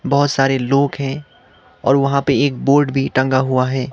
बहोत सारे लोग हैं और वहां पे एक बोर्ड भी टंगा हुआ है।